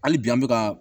Hali bi an bɛ ka